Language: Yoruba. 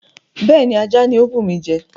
Bẹ́ẹ̀ni, ajá ni ó bùmi jẹ.